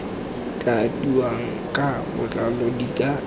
tladiwang ka botlalo di tla